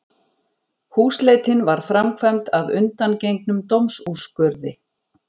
Húsleitin var framkvæmd að undangengnum dómsúrskurði